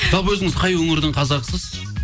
жалпы өзіңіз қай өңірдің қазағысыз